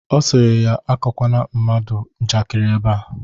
Ọ sịrị ya amakwana mmadụ njakịrị ebea